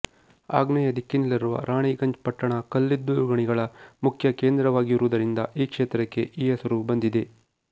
ಆಗ್ನೇಯ ದಿಕ್ಕಿನಲ್ಲಿರುವ ರಾಣಿಗಂಜ್ ಪಟ್ಟಣ ಕಲ್ಲಿದ್ದಲು ಗಣಿಗಳ ಮುಖ್ಯ ಕೇಂದ್ರವಾಗಿರುವುದರಿಂದ ಈ ಕ್ಷೇತ್ರಕ್ಕೆ ಈ ಹೆಸರು ಬಂದಿದೆ